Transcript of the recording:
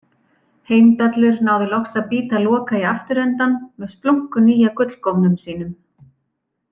Heimdallur náði loks að bíta Loka í afturendann með splunkunýja gullgómnum sínum.